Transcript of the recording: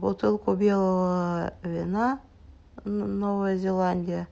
бутылку белого вина новая зеландия